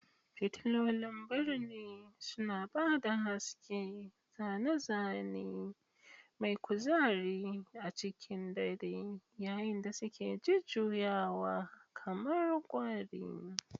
Fitilolin birni suna ba da haske, zane-zane mai kuzari a cikin dare yayin da suke jujjuyawa kamar kwari.